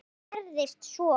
En hvað gerðist svo?